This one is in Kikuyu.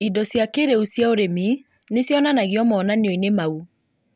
Indo cia kĩrĩu cia ũrĩmi nĩcionanagio monanio-inĩ mau